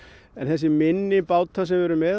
en þessir minni bátar sem við erum með